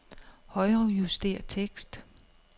Højrejuster tekst.